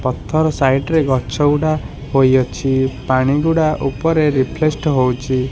ପଥର ସାଇଡ଼୍ ରେ ଗଛ ଗୁଡ଼ା ହୋଇଅଛି। ପାଣି ଗୁଡ଼ା ଉପରେ ରେଫ୍ଲେଷଡ ହୋଉଛି।